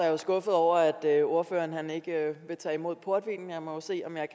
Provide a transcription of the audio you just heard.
jo skuffet over at ordføreren ikke vil tage imod portvinen jeg må jo se om jeg